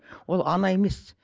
ол ана емес